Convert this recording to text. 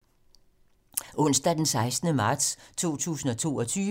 Onsdag d. 16. marts 2022